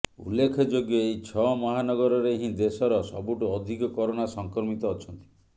ଉଲ୍ଲେଖଯୋଗ୍ୟ ଏହି ଛଅ ମହାନଗରରେ ହିଁ ଦେଶର ସବୁଠୁ ଅଧିକ କରୋନା ସଂକ୍ରମିତ ଅଛନ୍ତି